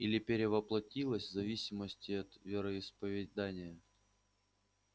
или перевоплотилась в зависимости от вероисповедания